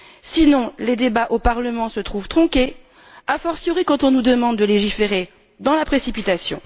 Sinon, les débats au Parlement se trouvent tronqués, a fortiori quand on nous demande de légiférer dans la précipitation.